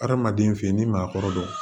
Hadamaden feyi n'i maa kɔrɔdon